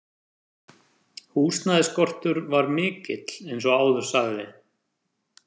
Húsnæðisskortur var mikill eins og áður sagði.